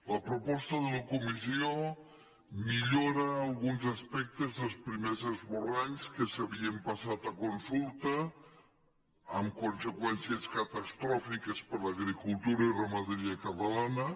la proposta de la comissió millora alguns aspectes dels primers esborranys que s’havien passat a consulta amb conseqüències catastròfiques per a l’agricultura i ramaderia catalanes